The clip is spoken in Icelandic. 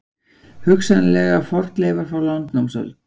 Hugsanlega fornleifar frá landnámsöld